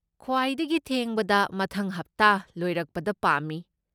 ꯈ꯭ꯋꯥꯏꯗꯒꯤ ꯊꯦꯡꯕꯗ ꯃꯊꯪ ꯍꯞꯇꯥ ꯂꯣꯏꯔꯛꯄꯗ ꯄꯥꯝꯃꯤ꯫